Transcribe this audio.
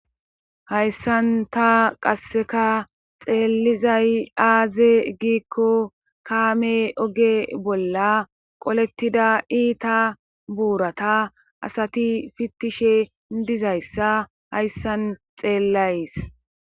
hayssan ta qasseka xeelizay aaze giikko kaame oge bolla qolettida iita buurata asati fittishe dizayssa hayssan xeellays